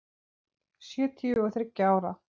Sjötíu og þriggja ára!